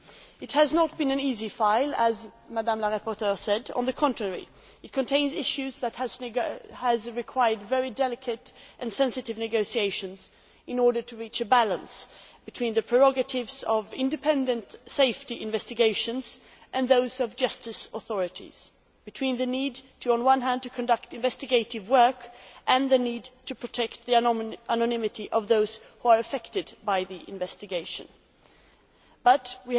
As the rapporteur said, it has not been an easy file. On the contrary, it contains issues that have required very delicate and sensitive negotiations in order to reach a balance between the prerogatives of independent safety investigations and those of justice authorities between the need, on the one hand, to conduct investigative work and the need to protect the anonymity of those who are affected by the investigation, on the other.